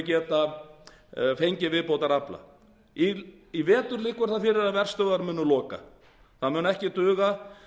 geta fengið viðbótarafla í vetur liggur það fyrir að verstöðvar munu loka það mun ekki duga